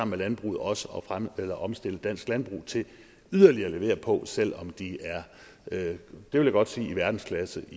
med landbruget også at omstille dansk landbrug til yderligere at levere på selv om de er det vil jeg godt sige i verdensklasse